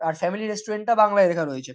আর family restaurant টা বাংলায় লেখা রয়েছে।